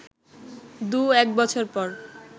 দু এক বছর পর